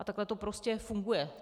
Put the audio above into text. A takhle to prostě funguje.